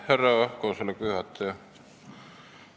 Härra koosoleku juhataja!